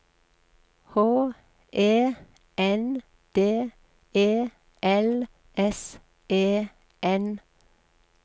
H E N D E L S E N